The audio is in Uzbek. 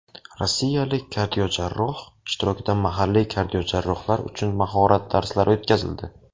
Rossiyalik kardiojarroh ishtirokida mahalliy kardiojarrohlar uchun mahorat darslari o‘tkazildi.